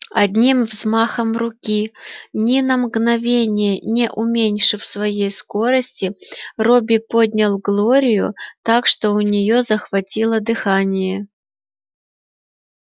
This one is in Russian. одним взмахом руки ни на мгновение не уменьшив своей скорости робби поднял глорию так что у нее захватило дыхание